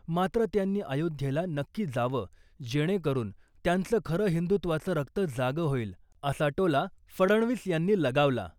मात्र , त्यांनी अयोध्येला नक्की जावं , जेणेकरुन त्यांचं खरं हिंदुत्वाचं रक्त जागं होईल , असा टोला फडणवीस यांनी लगावला .